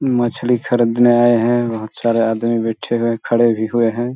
मछली खरीदने आये है बहुत सारे आदमी बेठे हुए है खड़े भी हुए है।